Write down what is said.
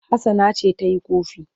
Hassana ce ta yi ƙofi.